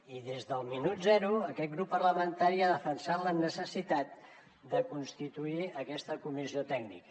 i des del minut zero aquest grup parlamentari ha defensat la necessitat de constituir aquesta comissió tècnica